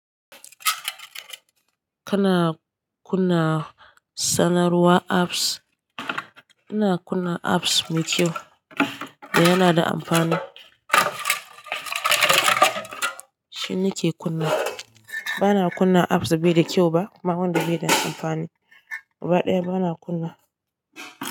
Kana kunna sanarwar apps. Ina kunna apps mai kyau da yana da amfani. Shi nake kunna. Ba na kunna apps da bai da kyau ba kuma wanda bai da amfani. Gaba ɗaya ba na kunna.